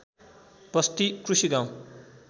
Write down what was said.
बस्ती कृषि गाउँ